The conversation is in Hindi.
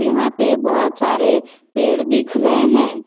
यहां पे बहोत सारे पेड़ दिख रहे हैं।